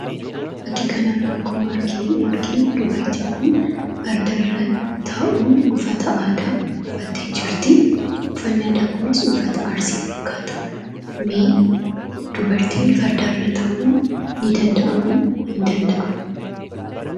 Fakkii kanarra, akkuma arginu dubartin kun, fardarra ta'uun, uffata aadaa, uffatte jirti. Uffanni aadaa kunis, uffata Arsii fakkata. Mee dubartiin fardarra taa'uu hin danda'amamo?,hin danda'amu?